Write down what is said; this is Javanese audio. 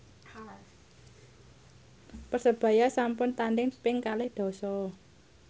Persebaya sampun tandhing ping kalih dasa